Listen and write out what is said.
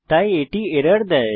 তাই এটি একটি এরর দেয়